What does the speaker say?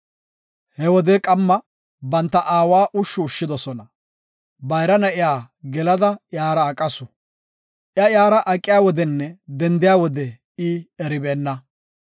He wode qamma banta aawa ushshu ushshidosona. Bayra na7iya gelada iyara aqasu. Iya iyara aqiya wodenne dendiya wode I eribeenna.